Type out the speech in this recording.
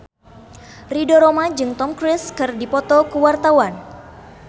Ridho Roma jeung Tom Cruise keur dipoto ku wartawan